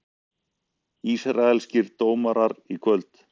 Ísraelskir dómarar í kvöld